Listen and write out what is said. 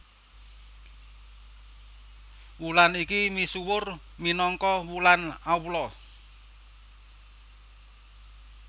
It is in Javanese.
Wulan iki misuwur minangka wulan Allah